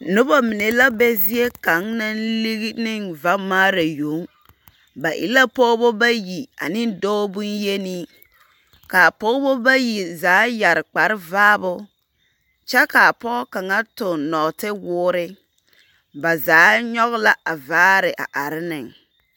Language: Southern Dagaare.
Noba mine la be zie kaŋ naŋ ligi neŋ vamaara yoŋ. Ba e la pɔgebɔ bayi ane dɔɔ boŋ-yenii. Kaa pɔgebɔ bayi zaa yare kparevaabo, kyɛ kaa pɔg kaŋa toŋ nɔgetewoore. Ba zaa nyɔge la a vaare a are neŋ.